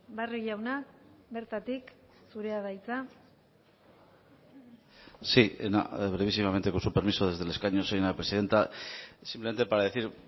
barrio jauna bertatik zurea da hitza sí brevísimamente con su permiso desde el escaño señora presidenta simplemente para decir